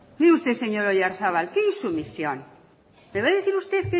mire usted señor oyarzabal qué insumisión me va a decir usted